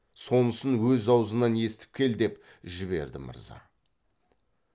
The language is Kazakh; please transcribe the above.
сонысын өз аузынан естіп кел деп жіберді мырза